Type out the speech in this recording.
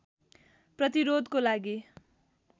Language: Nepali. प्रतिरोधको लागि